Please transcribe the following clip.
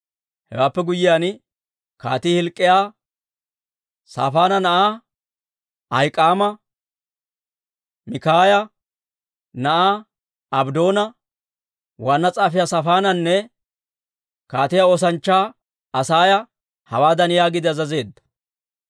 Hewaappe guyyiyaan, kaatii Hilk'k'iyaa, Saafaana na'aa Ahik'aama, Mikaaya na'aa Abddoona, waanna s'aafiyaa Saafaananne kaatiyaa oosanchchaa Asaaya hawaadan yaagiide azazeedda;